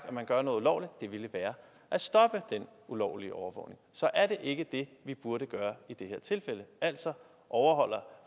at man gør noget ulovligt det ville være at stoppe den ulovlige overvågning så er det ikke det vi burde gøre i det her tilfælde altså overholde